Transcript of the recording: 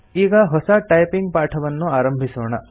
ಈಗ ಹೊಸ ಟೈಪಿಂಗ್ ಪಾಠವನ್ನು ಆರಂಭಿಸೋಣ